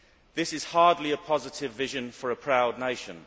This is hardly a positive vision for a proud nation.